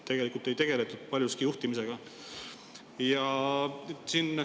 Tegelikult ei tegeletud paljuski juhtimisega.